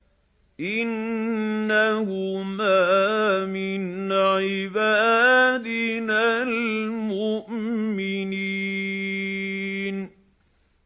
إِنَّهُمَا مِنْ عِبَادِنَا الْمُؤْمِنِينَ